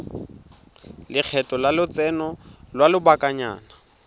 lekgetho la lotseno lwa lobakanyana